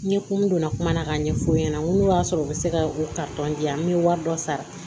N ye kun min don n na kuma na k'a ɲɛf'u ɲɛna n ko n'o y'a sɔrɔ u bɛ se ka u diyan n bɛ wari dɔ sara